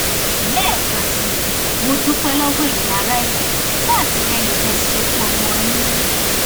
lẹẹkan sí i mo dúpẹ lọwọ ẹyin ará ẹkọ fún àtìlẹyìn tẹ ẹ ṣe fún ọmọ yín